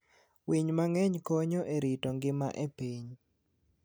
Winy mang'eny konyo e rito ngima e piny.